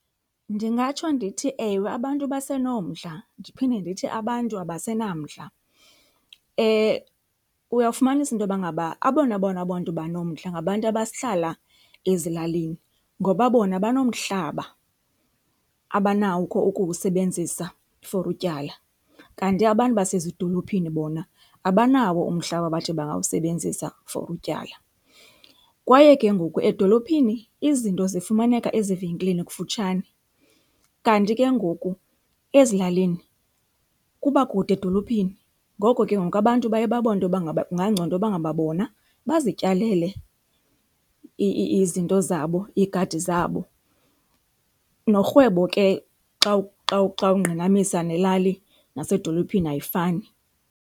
Ndingatsho ndithi, ewe, abantu basenomdla, ndiphinde ndithi abantu abasenamdla. Uyawufumanisa intoba ngaba abona bona bantu banomdla ngabantu abahlala ezilalini ngoba bona banomhlaba abanakho ukuwusebenzisa for utyala, kanti abantu basezidolophini bona abanawo umhlaba baathi bangawusebenzisa for utyala. Kwaye ke ngoku edolophini izinto zifumaneka ezivenkileni kufutshane, kanti ke ngoku ezilalini kuba kude edolophini. Ngoko ke ngoku abantu baye babone intoba ngaba kungangcono ukuba ngaba bona bazityalele izinto zabo, iigadi zabo. Norhwebo ke xa ungqinamisa nelali nasedolophini ayifani.